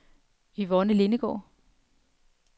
Yvonne Lindegaard